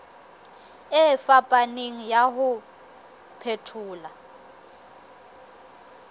e fapaneng ya ho phethola